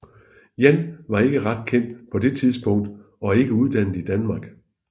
Yan var ikke ret kendt på det tidspunkt og ikke uddannet i Danmark